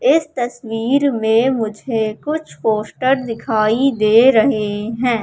इस तस्वीर में मुझे कुछ पोस्टर दिखाई दे रहे हैं।